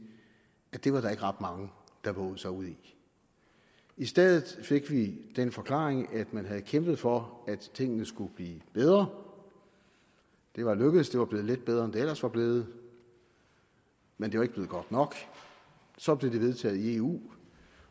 at det var der ikke ret mange der vovede sig ud i i stedet fik vi den forklaring at man havde kæmpet for at tingene skulle blive bedre det var lykkedes det var blevet lidt bedre end det ellers var blevet men det var ikke blevet godt nok så blev det vedtaget i eu